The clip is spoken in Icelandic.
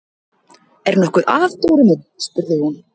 Er nokkuð að, Dóri minn? spurði hún.